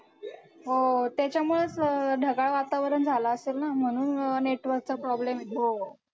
हो, त्याच्यामुळेच अं ढगाळ वातावरण झालं असेल ना म्हणून अं network चा problem येतो.